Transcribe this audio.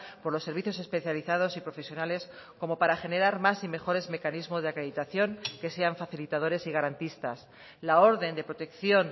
por los servicios especializados y profesionales como para generar más y mejores mecanismos de acreditación que sean facilitadores y garantistas la orden de protección